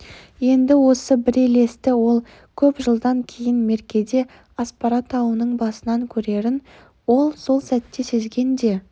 енді осы бір елесті ол көп жылдан кейін меркеде аспара тауының басынан көрерін ол сол сәтте сезген де